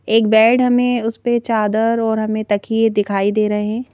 एक बेड हमें उस पे चादर और हमें तकिए दिखाई दे रहे हैं।